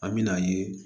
An me n'a ye